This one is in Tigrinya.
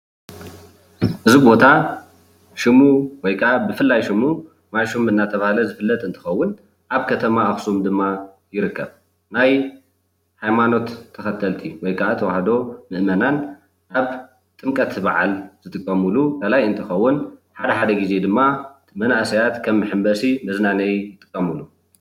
እዚ ቦታ ሽሙ ወይ ክዓ ብፍላይ ሽሙ ማይ ሹም እናተባሃለ ዝፍለጥ እንትከውን ኣብ ከተማ ኣክሱም ድማ ይርከብ ፡፡ ናይ ሃይማኖት ተከተልቲ ወይ ከዓ ተዋህዶ ምእመናን ኣብ ጥምቀት በዓል ዝጥቀምሉ ቃላይ እንትከውን ሓድሓደ ግዜ ድማ መናእሰያት ከም መሐመሲ መዝናነይ ይጥቀምሉ።